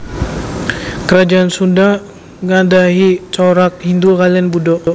Kerajaan Sunda anggadhahi corak Hindhu kaliyan Buddha